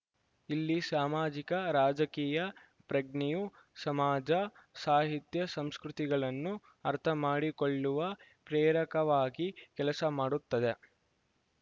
ಇಲ್ಲಿ ಸಾಮಾಜಿಕ ರಾಜಕೀಯ ಪ್ರಜ್ಞೆಯು ಸಮಾಜ ಸಾಹಿತ್ಯ ಸಂಸ್ಕೃತಿಗಳನ್ನು ಅರ್ಥಮಾಡಿಕೊಳ್ಳುವ ಪ್ರೇರಕವಾಗಿ ಕೆಲಸ ಮಾಡುತ್ತದೆ